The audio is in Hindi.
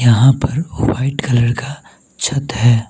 यहां पर व्हाइट कलर का छत है।